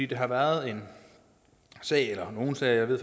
der har været en sag eller nogle sager jeg ved